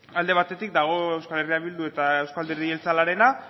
alde batetik dago euskal herria bildu eta euzko alderdi jeltzalearena